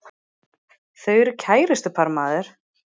Þau eru kærustupar maður!